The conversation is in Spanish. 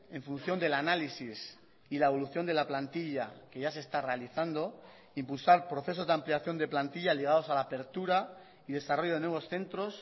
en función del análisis y la evolución de la plantilla que ya se está realizando impulsar procesos de ampliación de plantilla ligados a la apertura y desarrollo de nuevos centros